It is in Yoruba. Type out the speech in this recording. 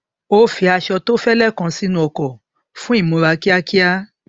ó fi aṣọ tó fẹlẹ kan sínú ọkọ fún ìmúra kíákíá